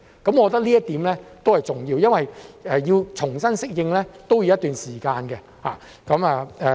我覺得這一點都是重要的，因為我們重新適應都要一段時間。